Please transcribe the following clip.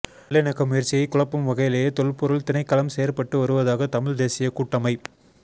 நல்லிணக்க முயற்சியை குழப்பும் வகையிலேயே தொல்பொருள் திணைக்களம் செயற்பட்டு வருவதாக தமிழ் தேசிய கூட்டமை